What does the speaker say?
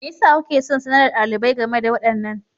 Me yasa kuke son sanar da ɗalibai game da waɗannan?